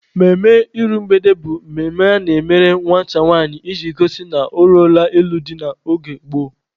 Mmemme iru mgbede bụ mmemme a na-emere nwata nwanyị iji gosi na o ruola ịlụ di n'oge gboo.